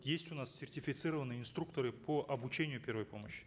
есть у нас сертифицированные инструкторы по обучению первой помощи